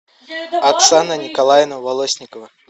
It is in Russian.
оксана николаевна волосникова